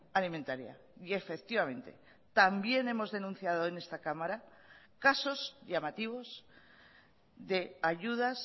alimentaria y efectivamente también hemos denunciado en esta cámara casos llamativos de ayudas